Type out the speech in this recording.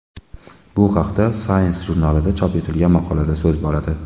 Bu haqda Science jurnalida chop etilgan maqolada so‘z boradi .